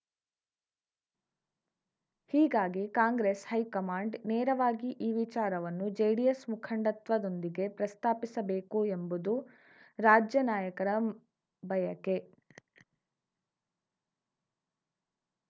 ಹೀಗಾಗಿ ಕಾಂಗ್ರೆಸ್‌ ಹೈಕಮಾಂಡ್‌ ನೇರವಾಗಿ ಈ ವಿಚಾರವನ್ನು ಜೆಡಿಎಸ್‌ ಮುಖಂಡತ್ವದೊಂದಿಗೆ ಪ್ರಸ್ತಾಪಿಸಬೇಕು ಎಂಬುದು ರಾಜ್ಯ ನಾಯಕರ ಬಯಕೆ